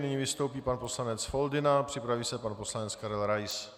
Nyní vystoupí pan poslanec Foldyna, připraví se pan poslanec Karel Rais.